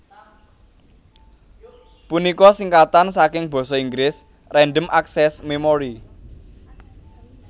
punika singkatan saking Basa Inggris Random Access Memory